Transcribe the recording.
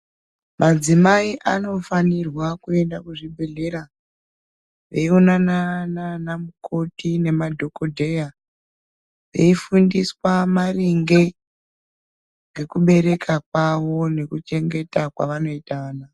Madzimai anofanirwa kuenda kuzvibhedhlera veionana nana mukoti nemadhokodheya veifundiswa maringe ngekubereka kwawo nekuchengeta kwavanoita vana.